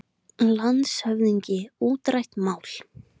LANDSHÖFÐINGI: Útrætt mál!